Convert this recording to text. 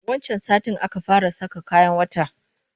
Wancan satin aka fara saka kayan wata